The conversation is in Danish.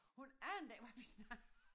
Hun anede ikke hvad vi snakkede om